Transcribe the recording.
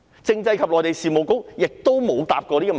政制及內地事務局亦沒有回答過這個問題。